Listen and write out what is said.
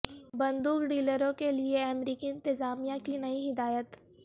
بندوق ڈیلروں کے لئے امریکی انتظامیہ کی نئی ہدایت